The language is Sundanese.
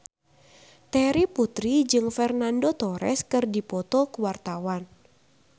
Terry Putri jeung Fernando Torres keur dipoto ku wartawan